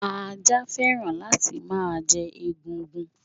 Ajá fẹ́ràn láti máa jẹ egungun.